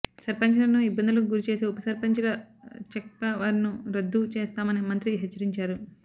సర్పంచులను ఇబ్బందులకు గురిచేసే ఉప సర్పంచుల చెక్పవర్ను రద్దు చేస్తామని మంత్రి హెచ్చరించారు